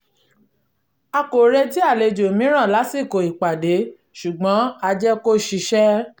a kò retí àlejò mìíràn lásìkò ìpàdé ṣùgbọ̀n a jẹ́ kó ṣiṣẹ́